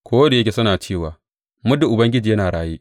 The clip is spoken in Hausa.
Ko da yake suna cewa, Muddin Ubangiji yana raye,’